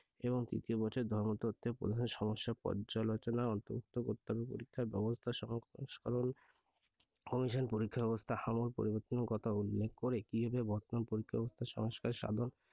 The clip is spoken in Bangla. এবং তৃতীয় বছর ধর্মতত্ত্বের প্রধান সমস্যা পর্যালোচনা অন্তর্ভুক্ত করতে হবে পরীক্ষার ব্যবস্থা সংস্করণ commission পরীক্ষার ব্যবস্থা আমূল পরিবর্তন এর কথা উল্লেখ করে কীভাবে বর্তমান পরীক্ষা ব্যবস্থা সাধন